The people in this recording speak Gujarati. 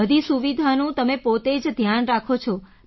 બધી સુવિધાનું તમે પોતે જ ધ્યાન રાખો છો